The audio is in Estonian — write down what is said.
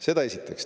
Seda esiteks.